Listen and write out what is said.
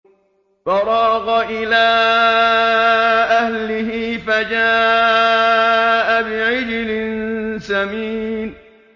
فَرَاغَ إِلَىٰ أَهْلِهِ فَجَاءَ بِعِجْلٍ سَمِينٍ